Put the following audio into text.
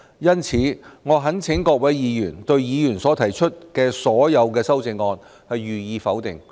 因此，我懇請各位議員，對議員所提出的所有修正案予以否決。